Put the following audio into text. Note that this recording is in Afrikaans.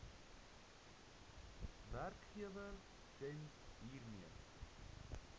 werkgewer gems hiermee